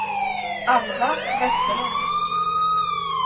Alva Vesterlund